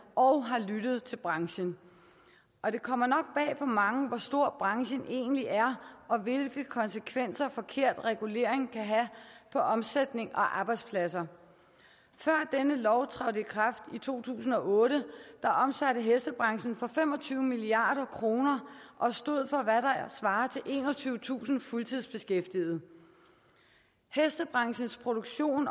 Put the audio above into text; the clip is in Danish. og har lyttet til branchen og det kommer nok bag på mange hvor stor branchen egentlig er og hvilke konsekvenser forkert regulering kan have for omsætning og arbejdspladser før denne lov trådte i kraft i to tusind og otte omsatte hestebranchen for fem og tyve milliard kroner og stod for hvad der svarer til enogtyvetusind fuldtidsbeskæftigede hestebranchens produktion